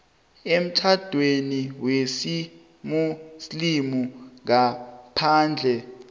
emtjhadweni wesimuslimu ngaphandle